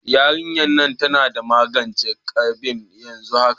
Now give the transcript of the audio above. Yarinyan nan tana magance ƙesbi yanzu haka